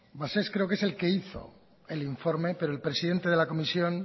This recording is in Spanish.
cabasés creo que es el que hizo el informe pero el presidente de la comisión